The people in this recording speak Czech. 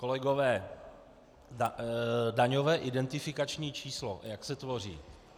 Kolegové, daňové identifikační číslo, jak se tvoří.